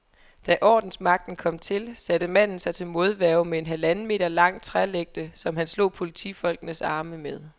Da ordensmagten kom til, satte manden sig til modværge med en halvanden meter lang trælægte, som han slog politifolkenes arme med.